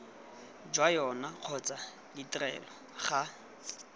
jwa yona kgotsa ditrelo ga